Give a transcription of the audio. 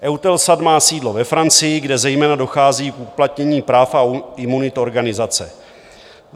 EUTELSAT má sídlo ve Francii, kde zejména dochází k uplatnění práv a imunit organizace.